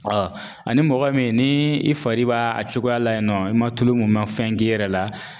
ani mɔgɔ min ni i fari b'a a cogoya la yen nɔ i ma tulu mun i ma fɛn k'i yɛrɛ la